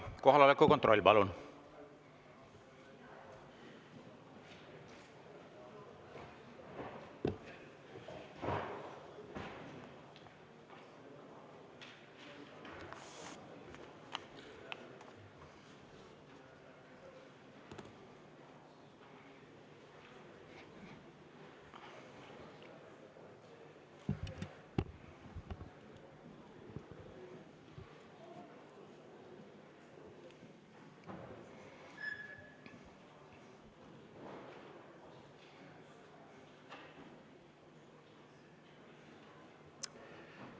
Kohaloleku kontroll, palun!